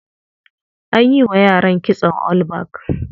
A yi wa yaran kitson all back.